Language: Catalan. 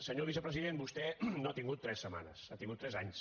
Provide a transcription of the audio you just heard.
senyor vicepresident vostè no ha tingut tres setmanes ha tingut tres anys